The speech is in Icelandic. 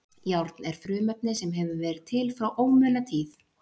Járn er frumefni sem hefur verið til frá ómunatíð.